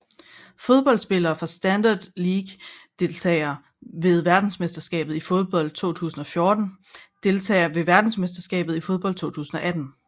Fodboldspillere fra Standard Liège Deltagere ved verdensmesterskabet i fodbold 2014 Deltagere ved verdensmesterskabet i fodbold 2018